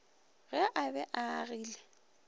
ge a be a agile